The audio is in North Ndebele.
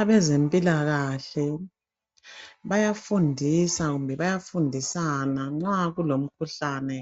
Abezempilakahle bayafundisa, kumbe bayafundisana nxa kulomkhuhlane